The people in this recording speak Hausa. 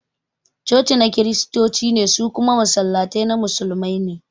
Cocina na Kiristoci ne, su kuma Masallatai na Musulmai ne